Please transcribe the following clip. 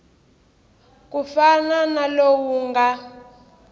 ku fana na lowu nga